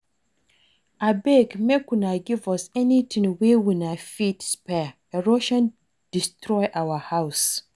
Abeg make una give us anything wey una fit spare erosion destroy our house